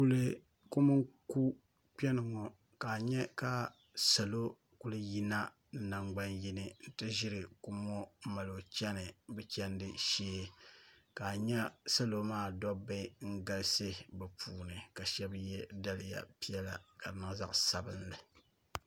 niriba ayi n-ʒeya n-zaŋdi bɛ niɛma n-wuhiri niriba bɛ yela niɛma ka di nyɛla bɛ zaŋ li mi n-wuhiri niriba ti ʒaamani ŋɔ teelanima ni tooi n-sheri neen'shɛŋa yino maa o yela neen'ʒiɛhi kootu n-nyɛ li n ti pahi jinjɛm ka pili di zipiligu ka yino maa mii so mukurugu ka ye di kootu ni di gba zipiligu